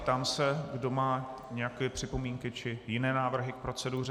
Ptám se, kdo má nějaké připomínky či jiné návrhy k proceduře.